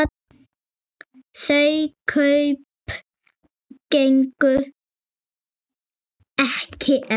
Þau kaup gengu ekki eftir.